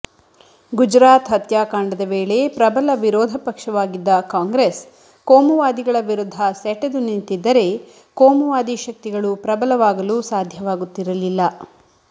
ಗುಜರಾತ್ ಹತ್ಯಾಕಾಂಡದ ವೇಳೆ ಪ್ರಬಲ ವಿರೋಧ ಪಕ್ಷವಾಗಿದ್ದ ಕಾಂಗ್ರೆಸ್ ಕೋಮುವಾದಿಗಳ ವಿರುದ್ಧ ಸೆಟೆದು ನಿಂತಿದ್ದರೆ ಕೋಮುವಾದಿ ಶಕ್ತಿಗಳು ಪ್ರಬಲವಾಗಲು ಸಾಧ್ಯವಾಗುತ್ತಿರಲಿಲ್ಲ